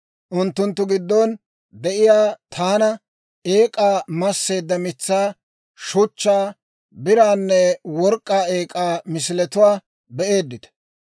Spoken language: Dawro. Unttunttu giddon de'iyaa tuna eek'aa, masseedda mitsaa, shuchchaa, biraanne work'k'aa eek'aa misiletuwaa be'eeddita.